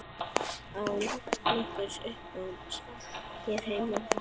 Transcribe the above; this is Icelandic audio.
Án nokkurs uppnáms hér heima.